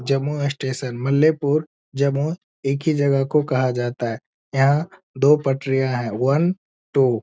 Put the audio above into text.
Jammu station मलीपूर जम्मू एक ही जगह को कहा जाता है यहाँ दो पटरियाँ हैं वन ट्व --